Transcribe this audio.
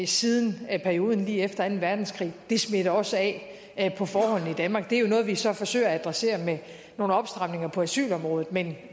siden perioden lige efter anden verdenskrig det smitter også af på forholdene i danmark det er jo noget vi så forsøger at adressere med nogle opstramninger på asylområdet men det